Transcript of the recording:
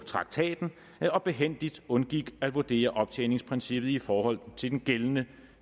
traktaten og behændigt undgik at vurdere optjeningsprincippet i forhold til den gældende